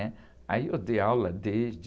né? Aí eu dei aula desde...